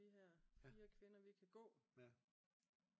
Vi her 4 kvinder vi kan gå